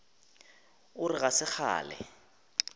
o re ga se kgale